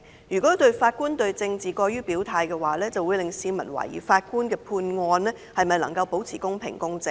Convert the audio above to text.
如果法官對政治過於表態的話，這樣會令市民懷疑法官的判決能否保持公平公正。